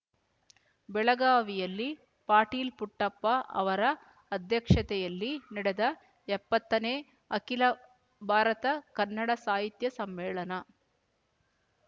ಬೆಳಗಾವಿಯಲ್ಲಿ ಪಾಟೀಲ್ ಪುಟ್ಟಪ್ಪ ಅವರ ಅಧ್ಯಕ್ಷತೆಯಲ್ಲಿ ನಡೆದ ಎಪ್ಪತ್ತನೇ ಅಖಿಲ ಭಾರತ ಕನ್ನಡ ಸಾಹಿತ್ಯ ಸಮ್ಮೇಳನ